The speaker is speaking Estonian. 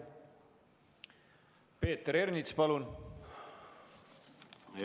Peeter Ernits, palun!